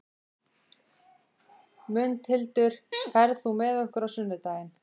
Mundhildur, ferð þú með okkur á sunnudaginn?